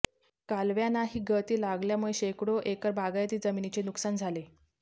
कालव्यानांही गळती लागल्यामुळे शेकडो एकर बागायती जमिनीचे नुकसान झाले